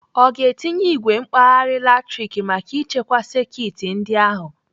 Ọ ga-etinye igwe mkpagha latrik maka ichekwa sekit ndị a ahụ?